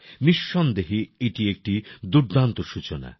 নিঃসন্দেহে এটি একটি দুর্দান্ত সূচনা